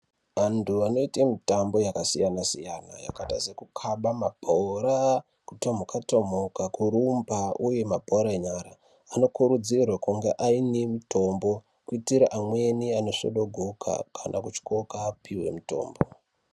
Vantu vanoita mutambo yakasiyana siyana yakaita seku kukaba mabhora kutomuka tomuka kurumba uye mabhora enyara vano kuridzirwa kunge aine mutombo kuitira amweni ano zvodogoka kana kutyoka vapiwe mutombo.